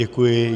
Děkuji.